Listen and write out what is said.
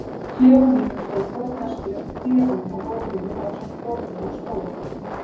klefa mínum stóð forneskjulegt trérúm á gólfinu ásamt borði og stól.